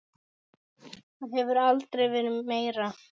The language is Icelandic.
Það hefur aldrei verið meira.